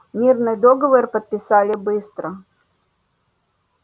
мирный договор подписали быстро